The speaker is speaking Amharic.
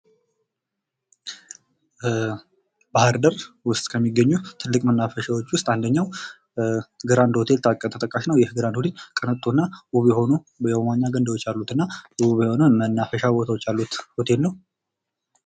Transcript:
ባህርዳር ውስጥ ከሚገኙ ትልቅ መናፈሻዎች ውስጥ ግራንድ ሆቴል ተጠቃሽ ነው። ይህ ግራንድ ሆቴል ቅንጡና ውብ የሆኑ የመዋኛ ገንዳዎች ያሉትና የመናፈሻ ሆቴል ነው።